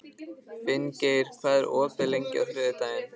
Finngeir, hvað er opið lengi á þriðjudaginn?